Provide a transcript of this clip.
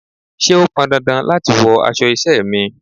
Ṣé o pọn dandan láti wọ aṣọ iṣẹ́ mi?